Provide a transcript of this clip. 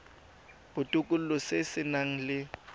botokololo se se nang le